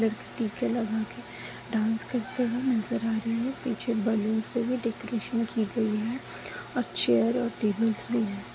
टीका लगा के डांस करते हुए नज़र आ रहा है पीछे बलूंस भी डेकोरेशन की गयी है और चेयर और टेबल्स भी है।